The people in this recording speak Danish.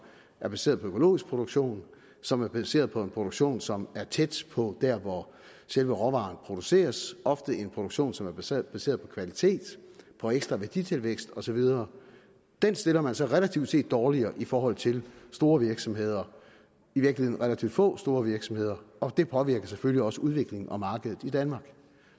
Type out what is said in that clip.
er baseret på økologisk produktion som er baseret på en produktion som er tæt på der hvor selve råvarerne produceres og ofte en produktion som er baseret baseret på kvalitet på ekstra værditilvækst og så videre dem stiller man så relativt set dårligere i forhold til store virksomheder i virkeligheden relativt få store virksomheder og det påvirker selvfølgelig også udviklingen og markedet i danmark